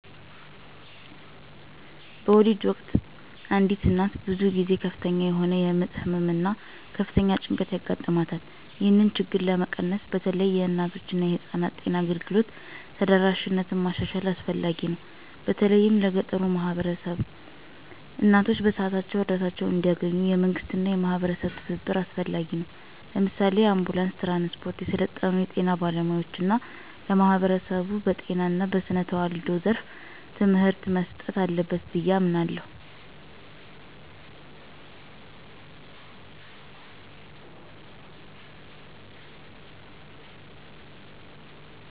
በወሊድ ወቅት አንዲት እናት ብዙ ጊዜ ከፍተኛ የሆነ የምጥ ህመም እና ከፍተኛ ጭንቀት ያጋጥማታል። ይህንን ችግር ለመቀነስ በተለይ የእናቶችና የህፃናት ጤና አገልግሎት ተደራሽነትን ማሻሻል አስፈላጊ ነው፤ በተለይም ለገጠሩ ማህበረሰቦች። እናቶች በሰዓታቸው እርዳታ እንዲያገኙ፣ የመንግስትና የማህበረሰብ ትብብር አስፈላጊ ነው። ለምሳሌ፣ የአንቡላንስ ትራንስፖርት፣ የሰለጠኑ የጤና ባለሙያዎች እና ለማህበረሰቡ በጤና እና በስነ ተዋልዶ ዘርፍ ትምህርት መስጠት አለበት ብዬ አምናለሁ።